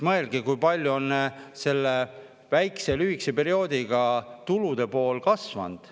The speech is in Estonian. Mõelge, kui palju on selle väikse, lühikese perioodiga tulude pool kasvanud.